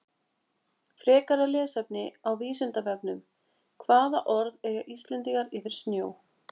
Frekara lesefni á Vísindavefnum Hvaða orð eiga Íslendingar yfir snjó?